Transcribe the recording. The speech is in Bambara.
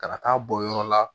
Ka na taa bɔ yɔrɔ la